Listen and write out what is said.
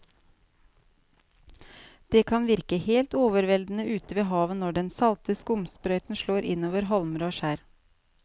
Det kan virke helt overveldende ute ved havet når den salte skumsprøyten slår innover holmer og skjær.